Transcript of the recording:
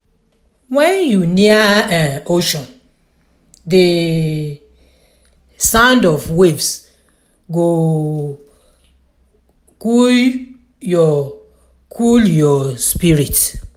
when you near um ocean the sound of waves go cool your cool your spirit.